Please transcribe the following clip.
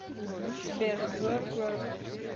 сбер верк верк